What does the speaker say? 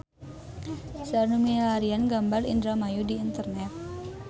Seueur nu milarian gambar Indramayu di internet